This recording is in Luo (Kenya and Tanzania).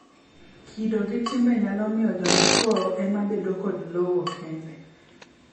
kido gi timbe nyalo miyo joma chuwo ema bedo gi lowo kende